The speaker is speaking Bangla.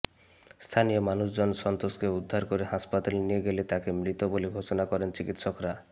স্থানীয় মানুষজন সন্তোষকে উদ্ধার করে হাসপাতালে নিয়ে গেলে তাঁকে মৃত বলে ঘোষণা করেন চিকিত্সকরা